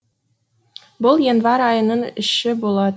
бұл январь айының іші болар